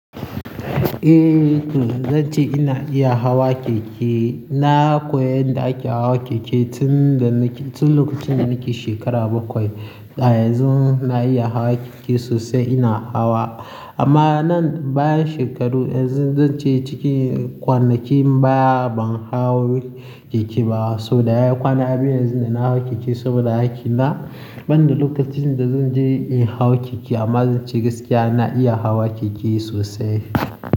Eh, zan ce ina iya hawa keke. Na koya yanda ake hawa keke tun da nake-- tun lokacin da nake shekara bakwai. A yanzun na iya hawa keke sosai ina hawa. Amma nan bayan shekaru, yanzun zan ce ciki kwanakin baya ban hau keke ba. So da ya kwana biyu yanzun da na hawa keke saboda hakina. Ban da lokacin da zan je in hau keke amma zan ce gaskiya na iya hawa keke sosai.